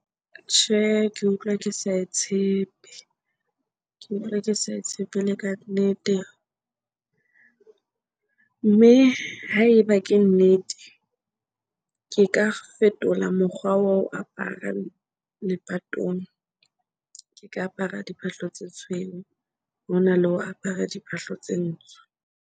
Tjhe, ke utlwa ke sa e tshepe, ke utlwa ke sa e tshepe ele kannete. Mme ha eba ke nnete, ke ka fetola mokgwa wa ho apara lepatong. Ke ka apara diphahlo tse tshweu hona le ho apara diphahlo tse ntsho.